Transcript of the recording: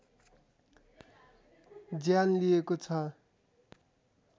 ज्यान लिएको छ